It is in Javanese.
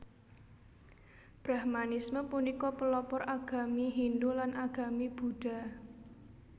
Brahmanisme punika pelopor agami Hindu lan agami Buddha